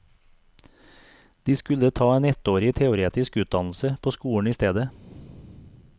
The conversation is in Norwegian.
De skulle ta en ettårig teoretisk utdannelse på skolen i stedet.